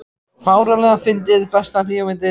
fáránlega fyndið Besta bíómyndin?